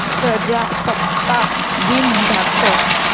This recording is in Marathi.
प्रजासत्ताक दिन दाखव